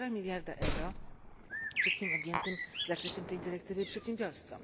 półtora miliarda euro wszystkim objętym zakresem tej dyrektywy przedsiębiorstwom.